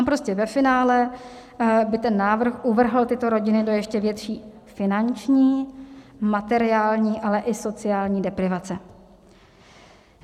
Tam prostě ve finále by ten návrh uvrhl tyto rodiny do ještě větší finanční, materiální, ale i sociální deprivace.